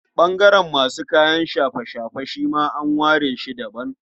Ɓangaren masu kayan shafe-shafe shi ma an ware shi daban.